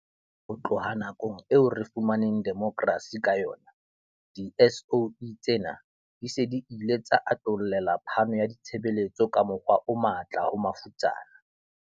Ho tloha nakong eo re fumaneng demokrasi ka yona, di-SOE tsena di se di ile tsa atollela phano ya ditshebeletso ka mokgwa o matla ho mafutsana.